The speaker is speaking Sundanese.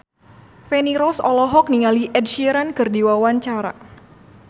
Feni Rose olohok ningali Ed Sheeran keur diwawancara